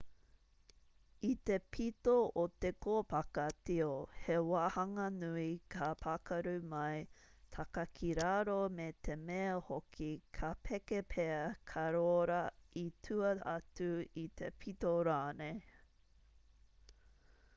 i te pito o te kōpaka tio he wāhanga nui ka pakaru mai taka ki raro me te mea hoki ka peke pea ka rōra i tua atu i te pito rānei